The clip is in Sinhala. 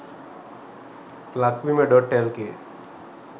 lakbima.lk